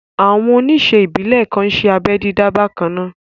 Àwọn oníṣe ìbílè kan n ṣé abẹ́ dídá bakanna